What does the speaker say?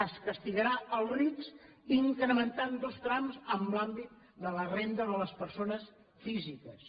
es castigarà els rics incrementant dos trams en l’àmbit de la renda de les persones físiques